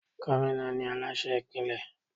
Gómìnà ni Aláṣẹ ìpínlẹ̀.